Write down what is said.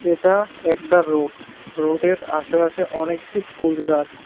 এটা একটা রোড রোডের আশেপাশে অনেকটি ফুল গাছ।